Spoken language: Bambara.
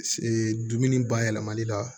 dumuni bayɛlɛmali la